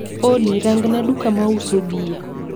Olly, rangna duka mauso bia